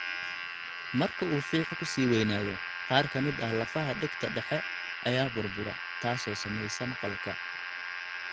Marka uu fiix-ku sii weynaado, qaar ka mid ah lafaha dhegta dhexe ayaa burbura, taasoo saamaysa maqalka.